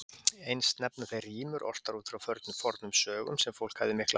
Eins nefna þeir rímur ortar út frá fornum sögum, sem fólk hafi miklar mætur á.